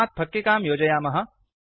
तस्मात् फक्किकां योजयामः